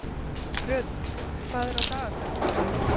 Röðull, hvað er á dagatalinu í dag?